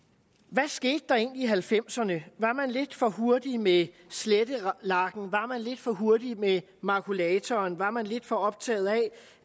hvad skete der egentlig i nitten halvfemserne var man lidt for hurtig med slettelakken var man lidt for hurtig med makulatoren var man lidt for optaget af